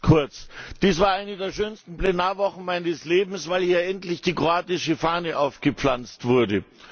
Nur ganz kurz Dies war eine der schönsten Plenarwochen meines Lebens, weil hier endlich die kroatische Fahne aufgepflanzt wurde!